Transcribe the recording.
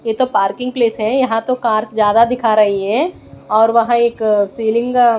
यह तो parking place है यहां तो कार्स ज्यादा दिखा रही है और वहां एक सीलिंग --